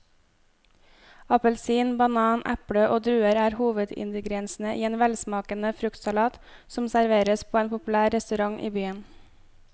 Appelsin, banan, eple og druer er hovedingredienser i en velsmakende fruktsalat som serveres på en populær restaurant i byen.